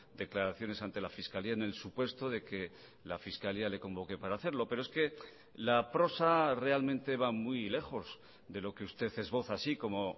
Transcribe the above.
declaraciones ante la fiscalía en el supuesto de que la fiscalía le convoque para hacerlo pero es que la prosa realmente va muy lejos de lo que usted esboza así como